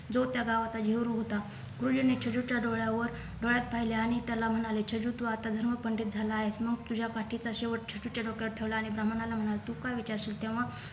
जो त्या गावाचा हेरू होता नि छेजूच्या डोळ्यावर डोळ्यात पाहिले आणि त्याला म्हणाले छेजू तू आता धर्म पंडित झाला आहेस मग तुझ्या काठीचा शेवट छेजूच्या डोक्यावर ठेवला आणि ब्राह्मणाला म्हणाला तू काय विचारशील तेव्हा